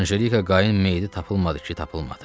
Anjelika Qayın meyidi tapılmadı ki, tapılmadı.